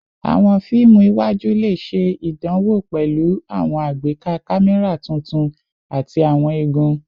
Awọn fiimu iwaju le ṣe idanwo pẹlu awọn agbeka kamẹra tuntun ati awọn igun